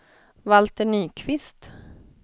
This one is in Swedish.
Valter Nyqvist